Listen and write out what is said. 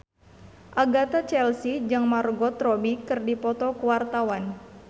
Agatha Chelsea jeung Margot Robbie keur dipoto ku wartawan